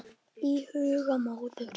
Í huga móður